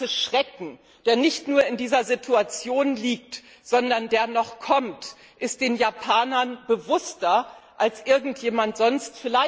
Der ganze Schrecken, der nicht nur in dieser Situation liegt, sondern der noch kommt, ist den Japanern bewusster als irgendjemandem sonst.